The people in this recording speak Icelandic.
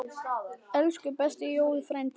Elsku besti Jói frændi.